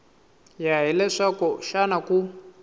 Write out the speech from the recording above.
ya hi leswaku xana ku